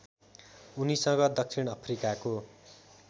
उनीसँग दक्षिण अफ्रिकाको